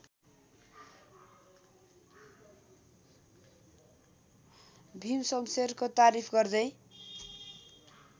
भीमशमशेरको तारिफ गर्दै